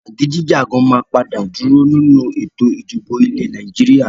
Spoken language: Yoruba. Jagidijagan máa padà dúró nínú Ètò ìdìbò ilẹ̀ Nàìjíríà.